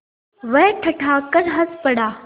वह ठठाकर हँस पड़ा